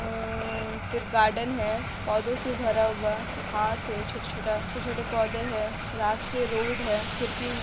अ फिर गार्डन है पौधों से भरा हुआ घास है छोटा-छोटा छोटे-छोटे पौधे है रास्ते रोड है खिड़की --